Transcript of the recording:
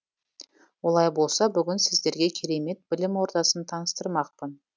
олай болса бүгін сіздерге керемет білім ордасын таныстырмақпын